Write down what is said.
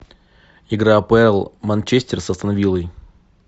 игра апл манчестер с астон виллой